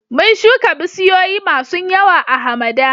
Mun shuka bisiyoyi masun yawa a'hamada.